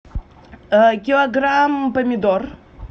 килограмм помидор